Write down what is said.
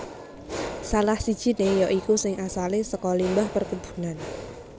Salah sijiné ya iku sing asalé saka limbah perkebunan